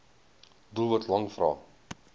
doelwit lang vrae